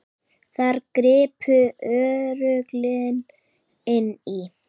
Þar gripu örlögin inn í.